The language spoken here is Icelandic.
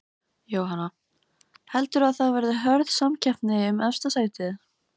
Jóhanna: Heldurðu að það verði hörð samkeppni um efsta sætið?